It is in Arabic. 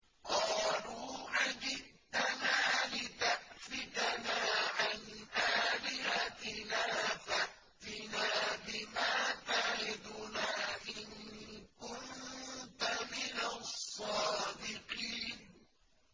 قَالُوا أَجِئْتَنَا لِتَأْفِكَنَا عَنْ آلِهَتِنَا فَأْتِنَا بِمَا تَعِدُنَا إِن كُنتَ مِنَ الصَّادِقِينَ